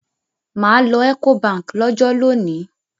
Mà à lọ Ecobank lọ́jọ́ lónìí.